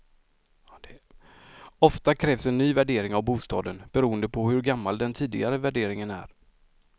Ofta krävs en ny värdering av bostaden, beroende på hur gammal den tidigare värderingen är.